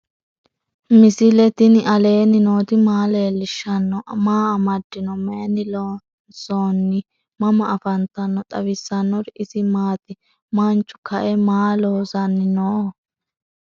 misile tini alenni nooti maa leelishanni noo? maa amadinno? Maayinni loonisoonni? mama affanttanno? xawisanori isi maati? manchu kae maa loosanni nooho?